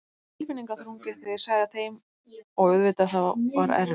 Það var tilfinningaþrungið þegar ég sagði þeim og auðvitað það var erfitt.